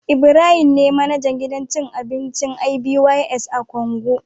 Ibrahim ne manajan gidan cin abinci "ibys " a Kongo